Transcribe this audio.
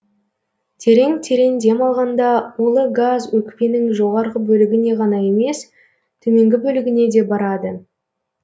терең терең дем алғанда улы газ өкпенің жоғарғы бөлігіне ғана емес төменгі бөлігіне де барады